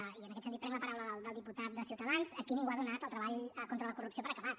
i en aquest sentit prenc la paraula del diputat de ciutadans aquí ningú ha donat el treball contra la corrupció per acabat